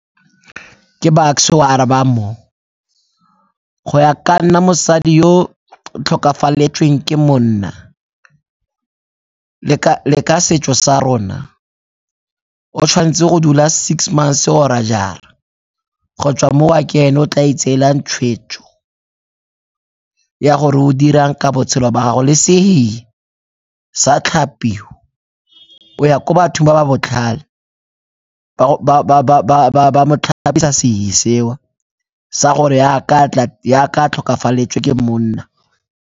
Ke Bucks-e o a arabang mo, go ya ka nna mosadi yo o tlhokafaletsweng ke monna le ka setso sa rona o tshwanetse go dula six months-e or-e jara go tswa mo ke ene o o tla itseelang tshwetso ya gore o dirang ka botshelo ba gagwe le sehihi se a tlhapiwa, o ya ko bathong ba ba botlhale ba mo tlhapisa sehihi seo sa gore yaka a tlhokafaletswe ke monna.